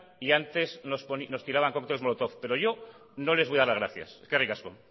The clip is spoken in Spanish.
y antes nos tiraban cócteles molotov pero yo no les voy a dar las gracias eskerrik asko